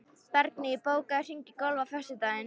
Bergný, bókaðu hring í golf á föstudaginn.